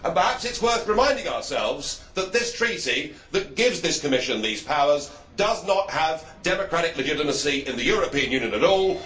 Perhaps it is worth reminding ourselves that this treaty that gives this Commission these powers does not have democratic legitimacy in the European Union at all.